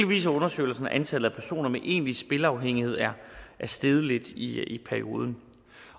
viser undersøgelsen at antallet af personer med egentlig spilafhængighed er steget lidt i perioden